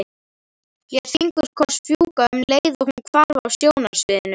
Lét fingurkoss fjúka um leið og hún hvarf af sjónarsviðinu.